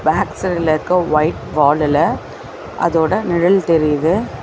Back சைடுல இருக்க white வாலுல அதோட நிழல் தெரியிது.